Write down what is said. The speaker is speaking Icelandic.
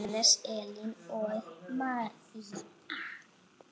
Hannes, Elín og María.